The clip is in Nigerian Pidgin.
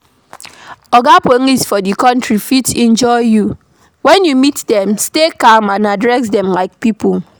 Oga police for di country fit injure you, when you meet them, stay calm and address dem like pipo